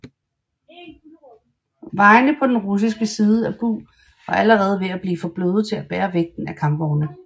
Vejene på den russiske side af Bug var allerede ved at blive for bløde til at bære vægten af kampvogne